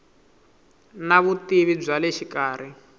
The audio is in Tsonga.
na vutivi bya le xikarhi